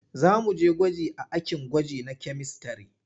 Za mu je gwaji a akin gwaji na kyamistare.